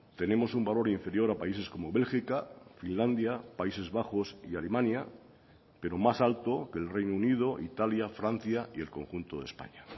tenemos un valor inferior a países como bélgica finlandia países bajos y alemania pero más alto que el reino unido italia francia y el conjunto de españa